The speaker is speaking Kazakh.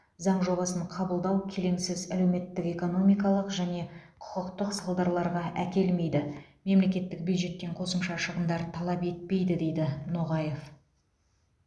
заң жобасын қабылдау келеңсіз әлеуметтік экономикалық және құқықтық сылдарларға әкелмейді мемлекеттік бюджеттен қосымша шығындар талап етпейді дейді ноғаев